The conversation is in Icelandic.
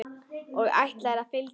Og ætlarðu að fylgja honum?